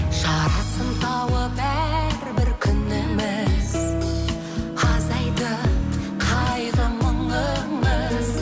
жарасын тауып әрбір күніміз азайтып қайғы мұңымыз